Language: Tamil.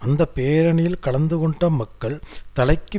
அந்த பேரணியில் கலந்து கொண்ட மக்கள் தலைக்கு